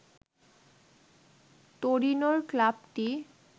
তোরিনোর ক্লাবটি